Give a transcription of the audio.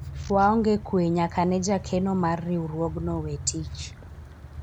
waonge kwe nyaka ne jakeno mar riwruogno we tich